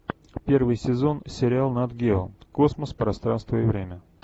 первый сезон сериал нат гео космос пространство и время